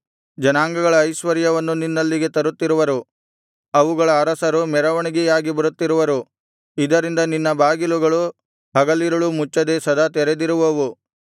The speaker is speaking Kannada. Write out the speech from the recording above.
ಜನಾಂಗಗಳ ಐಶ್ವರ್ಯವನ್ನು ನಿನ್ನಲ್ಲಿಗೆ ತರುತ್ತಿರುವರು ಅವುಗಳ ಅರಸರು ಮೆರವಣಿಗೆಯಾಗಿ ಬರುತ್ತಿರುವರು ಇದರಿಂದ ನಿನ್ನ ಬಾಗಿಲುಗಳು ಹಗಲಿರುಳೂ ಮುಚ್ಚದೆ ಸದಾ ತೆರೆದಿರುವವು